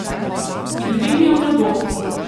In dvignil v nebo.